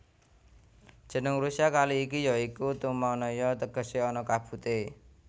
Jeneng Rusia kali iki ya iku Tumannaya tegese ana kabute